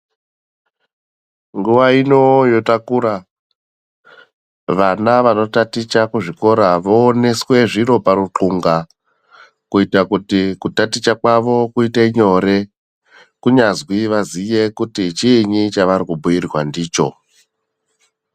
Nguva ino yotakura vana vanotaticha kuzvikora vooneswe zviro paruxunga kuita kuti kutaticha kwavo kuite nyore. Kunyazwi vaziye kuti chiinyi chavarikubhuirwa ndicho.